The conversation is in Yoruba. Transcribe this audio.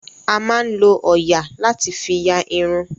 A máa ń lo òòyà láti fí ya irun.